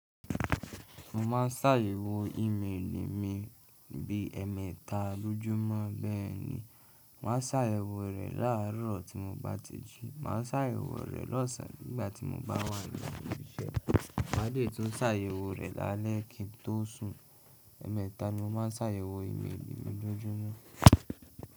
Mo máa ń ṣàyẹ̀wò ìméèlì mi bí ẹ̀ẹ́mẹ́ta lójúmọ́. Bẹ́ẹ̀ ni, màá sàyèwò rẹ̀ láàárọ̀ tí mo bá ti jí, màá sàyèwò rẹ̀ lọ́sàn-án nígbà tí mo bá wà ní ilé-ìṣẹ́, màá lè tún sàyèwò rẹ̀ lálẹ́ kí n tó sùn. Ẹ̀mẹ̀ta ni mo máa ń sàyèwò ìméèlì mi lójómó.